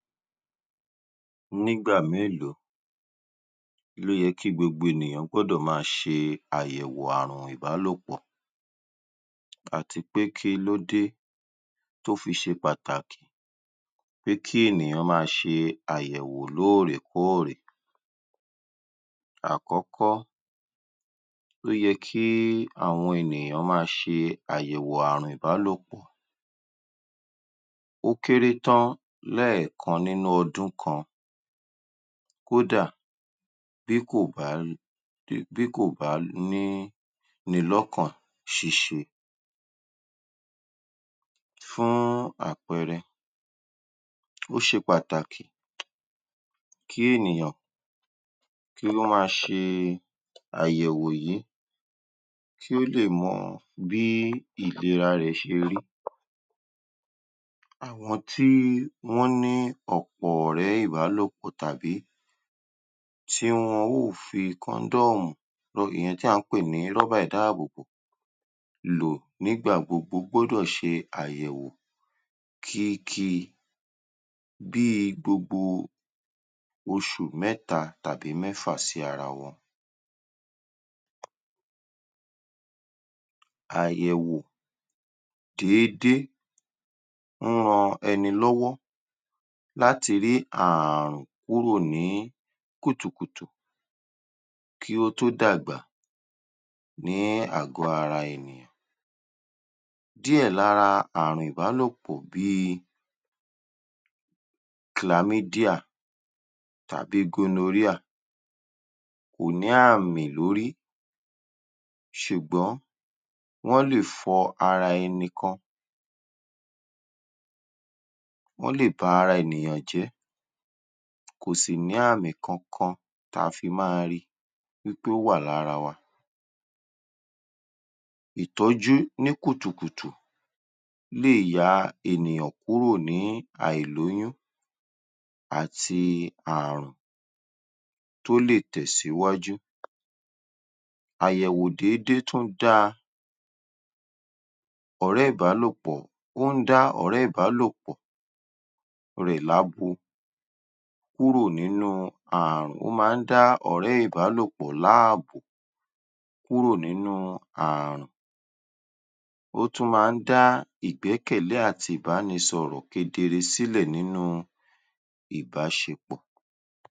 Nígbà mélòó ló yẹ kí gbogbo ènìyàn gbọ́dọ̀ máa ṣe àyẹ̀wò ààrùn ìbálòpọ̀ àti pé kílódé tó fi ṣe pàtàkì pé kí ènìyàn máa ṣe àyẹ̀wò lóòrèkóòrè. Àkọ́kọ́, ó yẹ́ kí àwọn ènìyàn máa ṣe àyẹ̀wò ààrùn ìbálòpọ̀ ó kéré tán lẹ́ẹ̀kan nínú ọdún kan. Kó dà, bí kò bá bí kò bá ní ni lọ́kàn ṣíṣe fún àpẹẹrẹ, ó ṣe pàtàkì kí ènìyàn kí ó máa ṣe àyẹ̀wò yìí kí ó lè mọ bí ìlera rẹ̀ ṣe rí. Àwọn tí wọ́n ní ọ̀pọ̀ ọ̀rẹ́ ìbálòpọ̀ tàbí tí wọn óò fi condom ìyẹn tà ń pè ní rọ́bà ìdáàbòbò lò nígbà gbogbo gbọ́dọ̀ ṣe àyẹ̀wò kíki bí i gbogbo oṣù mẹ́ta tàbí mẹ́fà sí ara wọn. Àyẹ̀wò déédé nń ran ẹni lọ́wọ́ láti ré ààrùn kúrò ní kùtùkùtù kí ó tó dàgbà ní àgọ́ ara ènìyàn. Díẹ̀ lára ààrùn ìbálòpọ̀ bí i chlamydia tàbí gonorrhea kò ní àmì lórí ṣùgbọ́n wọ́n lè fọ́ ara ẹni kan, wọ́n lè ba ara ènìyàn jẹ́ kò sì ní àmí kankan ta fi máa ri wí pé ó wà lára wa. Ìtọ́jú ní kùtùkùtù lè ya ènìyàn kúrò ní àìlóyún àti ààrùn tó lè tẹ̀síwájú. Àyẹ̀wò déédé tó dáa, ọ̀rẹ́ ìbálòpọ̀ ó ń dá ọ̀rẹ́ ìbálòpọ̀ rẹ̀ lábo kúrò nínú ààrùn ó máa ń dá ọ̀rẹ́ ìbálòpọ̀ láàbò kúrò nínú ààrùn, ó tún máa ń dá ìgbẹ́kẹ̀lé àti ìbánisọ̀rọ̀ kedere sílẹ̀ nínú ìbáṣepọ̀.